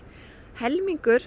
helmingur